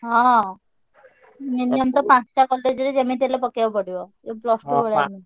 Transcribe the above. ହଁ minimum ତ ପାଞ୍ଚ ଟା college ରେ ଯେମିତି ହେଲେ ପକେଇଆକୁ ପଡିବ। ଇଏ plus two ଭଳିଆ